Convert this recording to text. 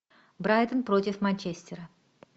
брайтон против манчестера